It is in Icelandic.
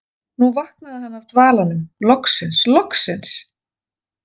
Nú vaknaði hann af dvalanum, loksins, loksins!